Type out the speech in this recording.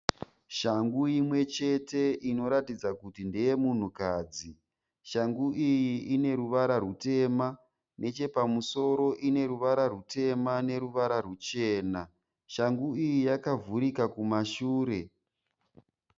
Shangu imwechete inoratidza kuti ndeyemunhukadzi. Shangu iyi ineruvara rwutema nechepamusoro ineruvara rwutema nerwuchena. Shangu iyi yakavhurika kumashure.